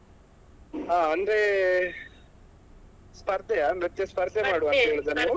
ಹಾ ಅಂದ್ರೆ ಸ್ಪರ್ಧೆಯಾ ನೃತ್ಯ ಸ್ಪರ್ಧೆ ಮಾಡುವ ಅಂತ ಹೇಳಿದ ನೀವು.